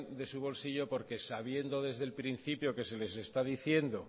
de su bolsillo porque sabiendo desde el principio que se les está diciendo